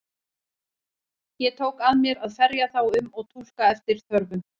Ég tók að mér að ferja þá um og túlka eftir þörfum.